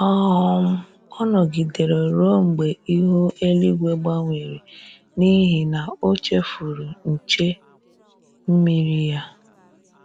um Ọ nọgidere ruo mgbe ihu eluigwu gbanwere n'ihi na o chefuru nche mmiri ya